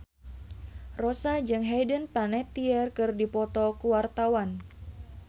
Rossa jeung Hayden Panettiere keur dipoto ku wartawan